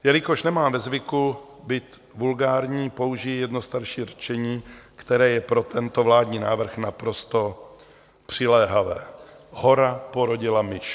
Jelikož nemám ve zvyku být vulgární, použiji jedno starší rčení, které je pro tento vládní návrh naprosto přiléhavé: hora porodila myš.